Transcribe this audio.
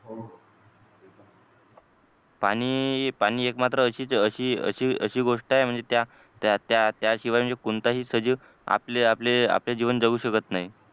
पाणी पाणी एक मात्र म्हणजे अशी अशी अशी गोष्ट आहे म्हणजे त्या त्या त्याशिवाय म्हणजे कोणताही सजीव आपले आपले आपले म्हणजे जीवन जगू शकत नाही.